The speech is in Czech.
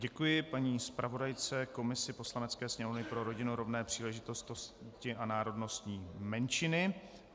Děkuji paní zpravodajce komise Poslanecké sněmovny pro rodinu, rovné příležitosti a národnostní menšiny.